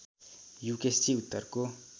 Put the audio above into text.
युकेशजी उत्तरको